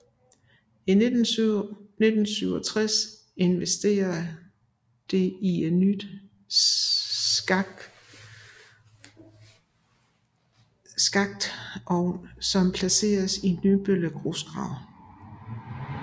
I 1967 investerer det i en ny skaktovn som placeres i Nymølle Grusgrav